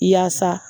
Yaasa